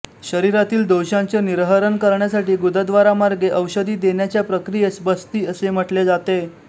शरीरातील दोषांचे निर्हरण करण्यासाठी गुदद्वारामार्गे औषधी देण्याच्या प्रक्रियेस बस्ती असे म्हटले जाते